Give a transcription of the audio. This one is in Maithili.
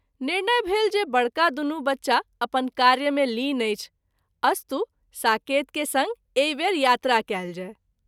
निर्णय भेल जे बड़का दुनू बच्चा अपन कार्य मे लीन अछि अस्तु साकेत के संग एहि वेर यात्रा कएल जाय।